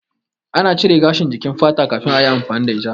Ina cire gashin jikin fata kafin ayi amfani da ita